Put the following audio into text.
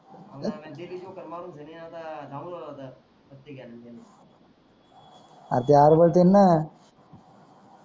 R ते आरबळतेन ना